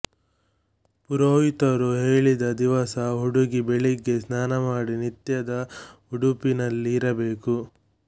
ಪುರೋಹಿತರು ಹೇಳಿದ ದಿವಸ ಹುಡುಗಿ ಬೆಳಿಗ್ಗೆ ಸ್ನಾನ ಮಾಡಿ ನಿತ್ಯದ ಉಡುಪಿನಲ್ಲಿ ಇರಬೇಕು